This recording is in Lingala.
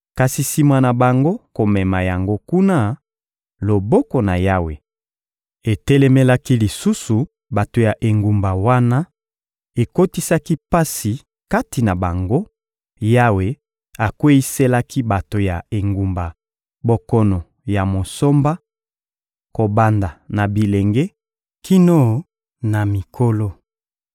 Kasi sima na bango komema yango kuna, loboko na Yawe etelemelaki lisusu bato ya engumba wana, ekotisaki pasi kati na bango: Yawe akweyiselaki bato ya engumba bokono ya «mosomba,» kobanda na bilenge kino na mikolo.